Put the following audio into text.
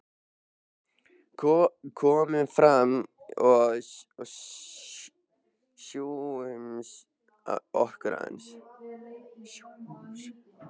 Komum fram og sjússum okkur aðeins.